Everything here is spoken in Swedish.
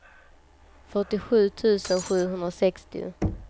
fyrtiosju tusen sjuhundrasextio